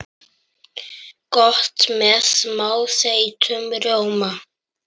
Gott með smá þeyttum rjóma.